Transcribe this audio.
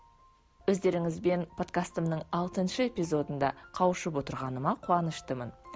өздеріңізбен подкастымның алтыншы эпизодында қауышып отырғаныма қуаныштымын